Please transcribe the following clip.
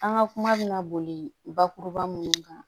An ka kuma bɛna boli bakuruba minnu kan